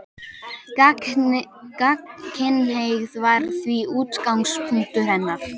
Gagnkynhneigð var því útgangspunktur hennar.